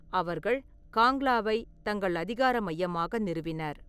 அவர்கள் காங்லாவை தங்கள் அதிகார மையமாக நிறுவினர்.